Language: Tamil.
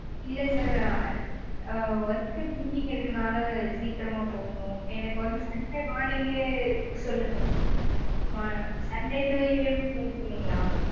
இல்ல sir work meeting இருக்கனால சீக்கிரமா போகணும் எனக்கு வந்து sunday morning லயே சொல்லுங்க sunday two AM flight சொன்னீங்கல்ல